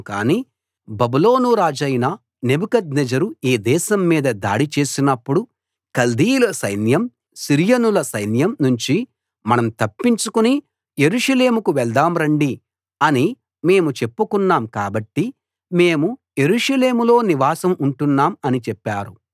కాని బబులోను రాజైన నెబుకద్నెజరు ఈ దేశం మీద దాడి చేసినప్పుడు కల్దీయుల సైన్యం సిరియనుల సైన్యం నుంచి మనం తప్పించుకుని యెరూషలేముకు వెళ్దాం రండి అని మేము చెప్పుకున్నాం కాబట్టి మేము యెరూషలేములో నివాసం ఉంటున్నాం అని చెప్పారు